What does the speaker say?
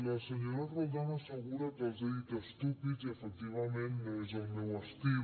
la senyora roldán assegura que els he dit estúpids i efectivament no és el meu estil